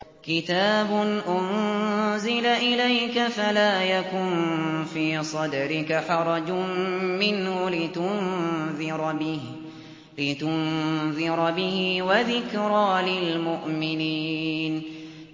كِتَابٌ أُنزِلَ إِلَيْكَ فَلَا يَكُن فِي صَدْرِكَ حَرَجٌ مِّنْهُ لِتُنذِرَ بِهِ وَذِكْرَىٰ لِلْمُؤْمِنِينَ